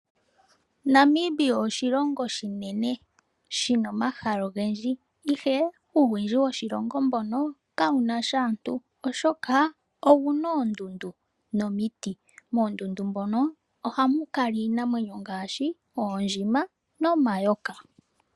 Namibia oshilongo oshinene shina omahala ogendji, ihe uuwindji woshilongo mbono kawu nasha aantu oshoka owuna oondundu nomiti. Moondundu dhono ohamu kala iinamwenyo ngaashi oondjima nomayoka.